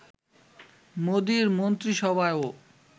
মোদির মন্ত্রিসভায়ও